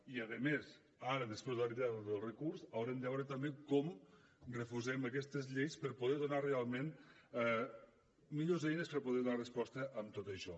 i a més ara després de la retirada del recurs haurem de veure també com reforcem aquestes lleis per poder donar realment millors eines per a poder donar resposta a tot això